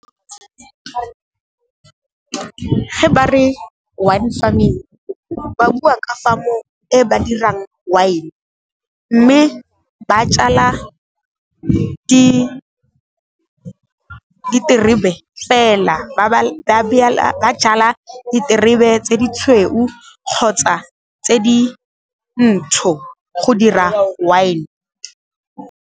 Ge ba re wine farming ba bua ka farm-o e ba dirang wine, mme ba jala diterebe fela, ba jala diterebe tse di tshweu kgotsa tse di ntsho go dira wine.